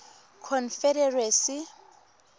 confederacy